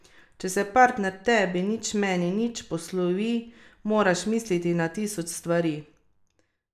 Če se partner tebi nič meni nič poslovi moraš misliti na tisoč stvari.